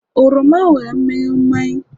oroma nwere mmiri mmanyi